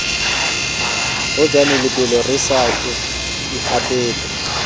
holane lebelo re sa ikgapele